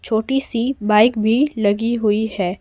छोटी सी बाइक भी लगी हुई है।